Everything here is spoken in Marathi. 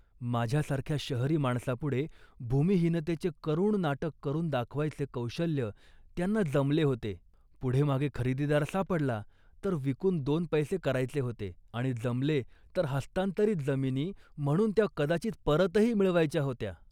माझ्यासारख्या शहरी माणसापुढे भूमिहीनतेचे करुण नाटक करून दाखवायचे कौशल्य त्यांना जमले होते. पुढेमागे खरीददार सापडला तर विकून दोन पैसे करायचे होते आणि जमले तर हस्तांतरित जमिनी म्हणून त्या कदाचित परतही मिळवायच्या होत्या